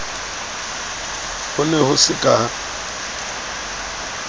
ho ne ho se ka